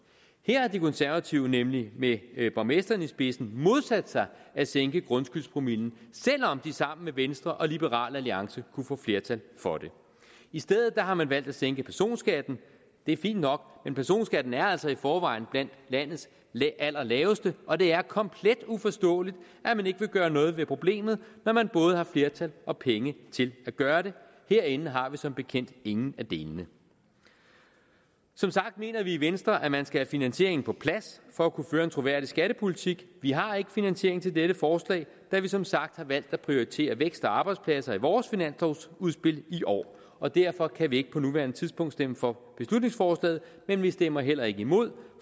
her har de konservative nemlig med borgmesteren i spidsen modsat sig at sænke grundskyldspromillen selv om de sammen med venstre og liberal alliance kunne få flertal for det i stedet har man valgt at sænke personskatten det er fint nok men personskatten er altså i forvejen blandt landets allerlaveste og det er komplet uforståeligt at man ikke vil gøre noget ved problemet når man både har flertal og penge til at gøre det herinde har vi som bekendt ingen af delene som sagt mener vi i venstre at man skal have finansieringen på plads for at kunne føre en troværdig skattepolitik vi har ikke nogen finansiering til dette forslag da vi som sagt har valgt at prioritere vækst og arbejdspladser i vores finanslovsudspil i år og derfor kan vi ikke på nuværende tidspunkt stemme for beslutningsforslaget men vi stemmer heller ikke imod